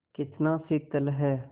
कितना शीतल है